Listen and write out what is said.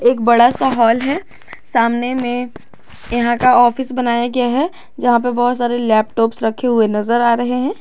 एक बड़ा सा हाल है सामने में यहां का ऑफिस बनाया गया है जहां पे बहोत सारे लैपटॉप्स रखे हुए नजर आ रहे हैं।